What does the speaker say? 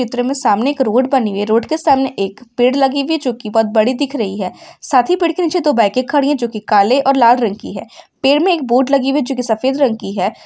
चित्र में सामने एक रोड बनी वी है। रोड के सामने एक पेड़ लगी वी है जोकि बहुत बड़ी दिख रही है। साथी पेड़ के नीचे दो बायके खड़ी है जोकि काले और लाल रंग की है। पेड़ में एक बोर्ड लगी वी है जोकि सफेद रंग की है।